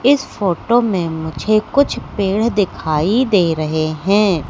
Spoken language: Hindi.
इस फोटो में मुझे कुछ पेड़ः दिखाई दे रहे हैं।